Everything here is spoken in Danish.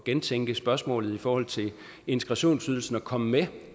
gentænke spørgsmålet i forhold til integrationsydelsen og komme med